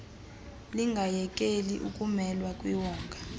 lingayekeli ukumelwa kwiwonga